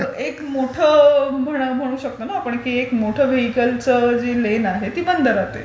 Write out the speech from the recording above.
एक मोठं व्हेईकल कमी होतं ना रे. ती जी लेन आहे ती बंद राहते.